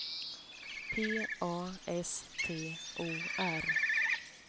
P A S T O R